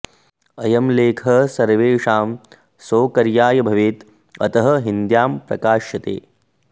अयं लेखः सर्वेषां सौकर्याय भवेत् अतः हिन्द्यां प्रकाश्यते